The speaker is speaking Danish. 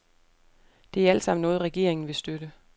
Det er alt sammen noget, regeringen vil støtte.